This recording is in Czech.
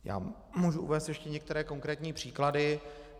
Já můžu uvést ještě některé konkrétní příklady.